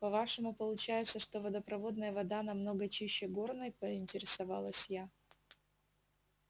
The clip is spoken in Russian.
по-вашему получается что водопроводная вода намного чище горной поинтересовалась я